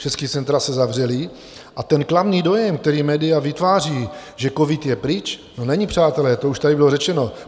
Všechna centra se zavřela a ten klamný dojem, který média vytváří, že covid je pryč - no, není, přátelé, to už tady bylo řečeno.